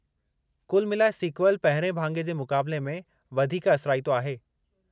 कुल मिलाए, सीक्वल पहिरिएं भाङे जे मुक़ाबले में वधीक असराईतो आहे।